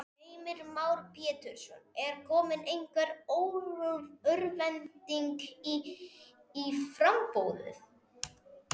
Heimir Már Pétursson: Er komin einhver örvænting í í framboðið?